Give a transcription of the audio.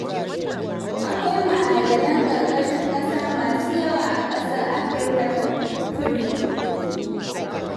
Akwai ma'adanan ƙarƙashin ƙasa masu yawa a ƙasar Afirka ta Kudu.